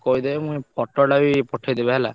କହିଦେବେ ଉଁ photo ଟା ବି ପଠେଇଦେବେ ହେଲା।